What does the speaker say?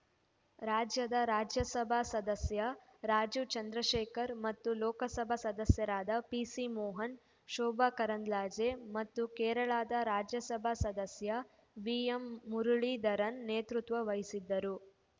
ರಾಜ್ಯದ ರಾಜ್ಯಸಭಾ ಸದಸ್ಯ ರಾಜೀವ್‌ ಚಂದ್ರಶೇಖರ್‌ ಮತ್ತು ಲೋಕಸಭಾ ಸದಸ್ಯರಾದ ಪಿಸಿಮೋಹನ್‌ ಶೋಭಾ ಕರಂದ್ಲಾಜೆ ಮತ್ತು ಕೇರಳದ ರಾಜ್ಯಸಭಾ ಸದಸ್ಯ ವಿಎಂಮುರುಳೀಧರನ್‌ ನೇತೃತ್ವ ವಹಿಸಿದ್ದರು